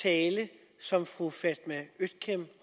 tale som fru fatma øktem